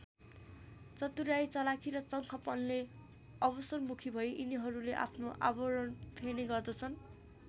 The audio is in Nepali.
चतुर्‍याइँ चलाखी र चङ्खपनले अवसरमुखी भई यिनीहरूले आफ्नो आवरण फेर्ने गर्दछन्।